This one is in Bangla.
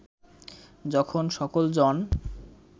যখন সকল জন